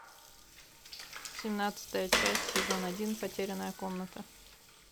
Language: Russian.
семнадцатая часть сезон один потерянная комната